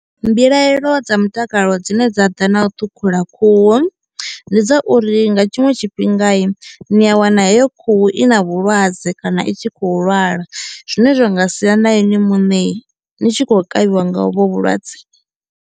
Mbilaelo dza mutakalo dzine dza ḓa na u ṱhukhula khuhu ndi dza uri nga tshiṅwe tshifhingai ni a wana heyo khuhu i na vhulwadze kana i tshi khou lwala zwine zwa nga sia na ini muṋei ni tshi khou kavhiwa nga hovho vhulwadze.